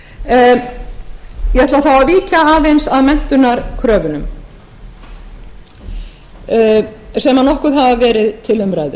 ætla þá að víkja aðeins að menntunarkröfunum sem nokkuð hafa verið til umræðu